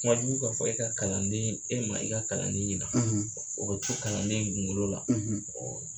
ka fɔ i ka kalanden ye e ma i ka kalannen yira o bɛ fɔ kalanden ɲininka o la.